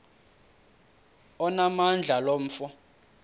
onamandla lo mfo